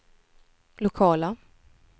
lokala